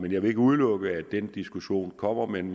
jeg vil ikke udelukke at den diskussion kommer men